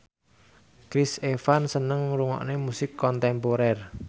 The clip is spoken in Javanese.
Chris Evans seneng ngrungokne musik kontemporer